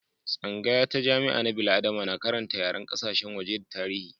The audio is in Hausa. Tsangaya ta jami'a na bil'adama na karanta yaren kasashen waje da tarihi.